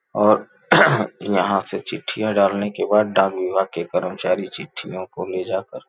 और यहां से चिट्ठियां डालने के बाद डाक विभाग के कर्मचारी चिट्ठियों को ले जाकर --